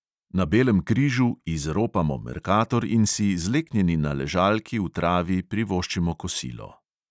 Na belem križu "izropamo" merkator in si, zleknjeni na ležalki v travi, privoščimo kosilo.